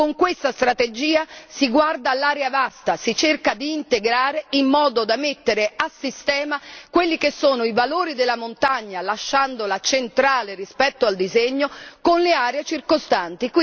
Con questa strategia si guarda all'area vasta, si cerca di integrare in modo da mettere a sistema quelli che sono i valori della montagna, lasciandola centrale rispetto al disegno con le aree circostanti.